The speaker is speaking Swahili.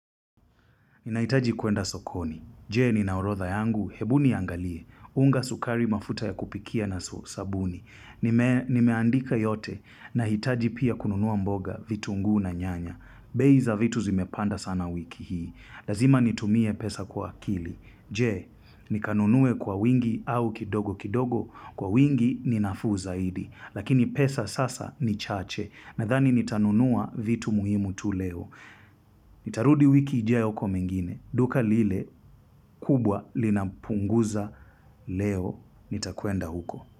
Ninahitaji kuenda sokoni. Je? Ninaorodha yangu? Hebu niangalie. Unga, sukari, mafuta ya kupikia na sabuni. Nimeandika yote. Nahitaji pia kununua mboga, vitungu na nyanya. Bei za vitu zimepanda sana wiki hii. Lazima nitumie pesa kwa akili. Je? Nikanunue kwa wingi au kidogo kidogo? Kwa wingi ninafuu zaidi. Lakini pesa sasa ni chache. Nadhani nitanunua vitu muhimu tu leo. Nitarudi wiki ijayo kwa mengine. Duka lile kubwa linapunguza leo nitakuenda huko.